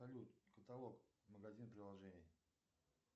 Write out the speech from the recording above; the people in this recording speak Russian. салют каталог магазин приложений